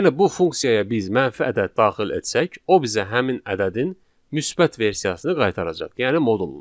Yəni bu funksiyaya biz mənfi ədəd daxil etsək, o bizə həmin ədədin müsbət versiyasını qaytaracaq, yəni modulunu.